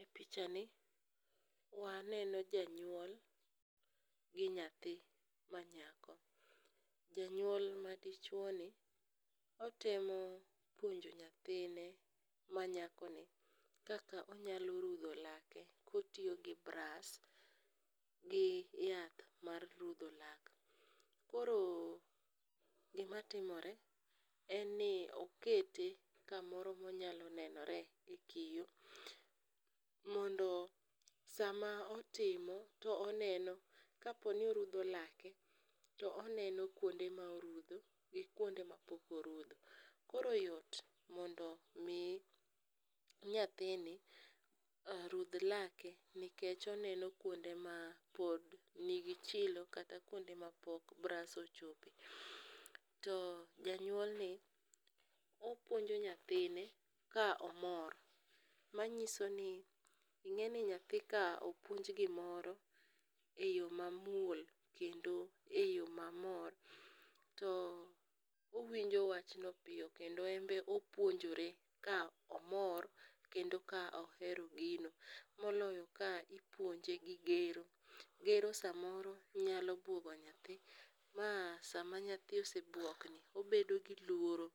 E pichani waneno janyuol gi nyathi manyako. Janyuol madichwoni otemo puonjo nyathinne manyakoni kaka onyalo rudho lake kotiyo gi bras gi yath mar rudho lak. Koro gimatimore en ni okete kamoro monyalo nenore e kio mondo sama otimo to oneno kaponi orudho lake to oneno kuonde ma orudho gi kuonde mapok orudho, koro yot mondo omi nyathine rudh lake nikech oneno kuonde mapod nigi chilo kata kuyonde mapok bras ochope, to janyuolni opuonjo nyathine ka omor manyiso ni ing'e ni nyathi ka opuonj gimoro e yo mamuol kendo e yo mamor, to owinjo wachno piyo kendo embe opunjojore ka omor kendo ka ohero gino moloyo ka ipuonje gi gero, gero samoro nyalo buogo nyathi ma sama nyathi osebuokni obedo gi luoro